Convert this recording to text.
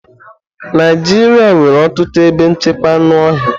Naijiria nwere ọtụtụ ebe nchekwa anụ ọhịa.